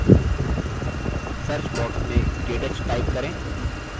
search box में ktouch type करें